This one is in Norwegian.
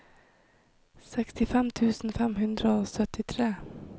sekstifem tusen fem hundre og syttitre